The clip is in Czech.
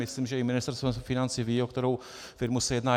Myslím, že i Ministerstvo financí ví, o kterou firmu se jedná.